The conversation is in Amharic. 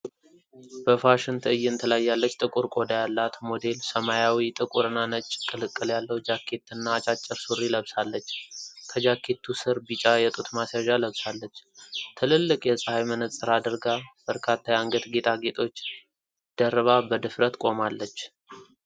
በፋሽን ትዕይንት ላይ ያለች ጥቁር ቆዳ ያላት ሞዴል ሰማያዊ፣ ጥቁር እና ነጭ ቅልቅል ያለው ጃኬትና አጫጭር ሱሪ ለብሳለች። ከጃኬቱ ሥር ቢጫ የጡት ማስያዣ ለብሳለች። ትልልቅ የፀሐይ መነፅር አድርጋ፣ በርካታ የአንገት ጌጣጌጦች ደርባ በድፍረት ቆማለች።